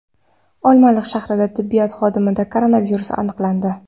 Olmaliq shahridagi tibbiyot xodimida koronavirus aniqlandi.